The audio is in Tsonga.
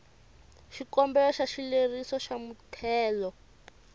xikombelo xa xileriso xa muthelo